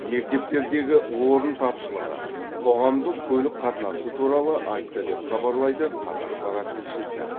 мектептердегі орын тапшылығы қоғамдық көлік қатынасы туралы айтты деп хабарлайды қазақпарат тілшісі